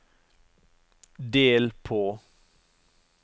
del på